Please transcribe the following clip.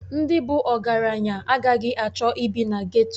Ndị bụ ọgaranya agaghị achọ ịbi na geto.